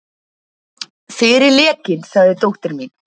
Fyrir lekinn sagði dóttir mín.